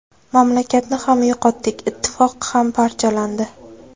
Mamlakatni ham yo‘qotdik, ittifoq ham parchalandi.